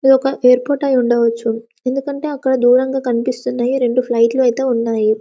ఇది ఒక ఎయిర్పోర్ట్ అయి ఉండవచ్చు ఎందుకంటే అక్కడ దూరంగా కనిపిస్తున్నయి రెండు ఫ్లైట్ లైతే ఉన్నాయి.